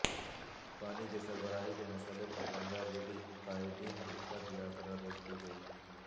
پانی کی سربراہی کے مسئلہ پر رنگاریڈی قائدین کی پدیاتراروک دی گئی